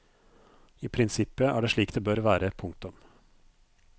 I prinsippet er det slik det bør være. punktum